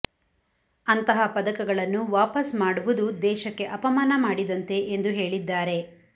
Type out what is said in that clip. ಅಂತಹ ಪದಕಗಳನ್ನು ವಾಪಸ್ ಮಾಡುವುದು ದೇಶಕ್ಕೆ ಅಪಮಾನ ಮಾಡಿದಂತೆ ಎಂದು ಹೇಳಿದ್ದಾರೆ